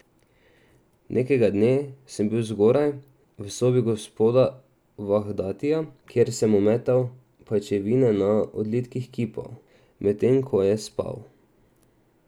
Nekega dne sem bil zgoraj, v sobi gospoda Vahdatija, kjer sem ometal pajčevine na odlitkih kipov, medtem ko je spal.